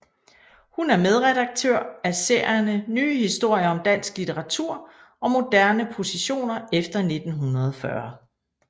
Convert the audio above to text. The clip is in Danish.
Hun er medredaktør af serierne Nye historier om dansk litteratur og Moderne positioner efter 1940